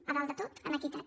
a dalt de tot en equitat